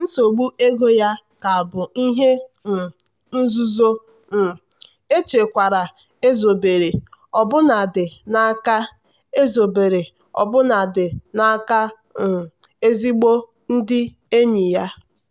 nsogbu ego ya ka bụ ihe um nzuzo um echekwara ezobere ọbụnadị n'aka ezobere ọbụnadị n'aka um ezigbo ndị enyi ya.